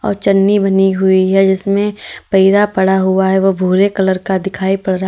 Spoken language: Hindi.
और जर्नी बनी हुई है जिसमें पैरा पड़ा हुआ है ओ भूरे कलर का दिखाई पड़ रहा--